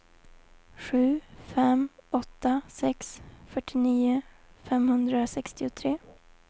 sju fem åtta sex fyrtionio femhundrasextiotre